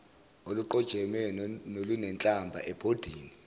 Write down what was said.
oluqojeme nolunenhlamba ebhodini